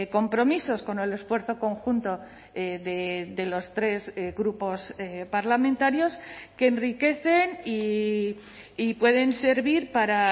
compromisos con el esfuerzo conjunto de los tres grupos parlamentarios que enriquecen y pueden servir para